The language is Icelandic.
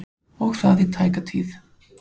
Og það í tæka tíð.